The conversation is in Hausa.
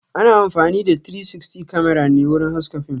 Ana amfani da "360 Camera" ne wurin haska fim